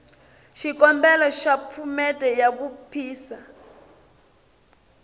xikombelo xa phomete ya vuphisa